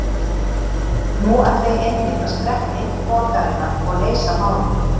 Nú ætla ég einmitt að skreppa inn til borgarinnar og leysa málin.